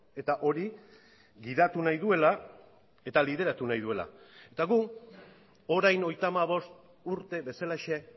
eta hori gidatu nahi duela eta lideratu nahi duela eta gu orain hogeita hamabost urte bezalaxe